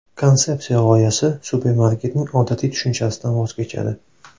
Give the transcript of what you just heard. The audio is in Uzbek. Konsepsiya g‘oyasi supermarketning odatiy tushunchasidan voz kechadi.